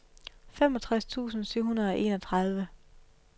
femogtres tusind syv hundrede og enogtredive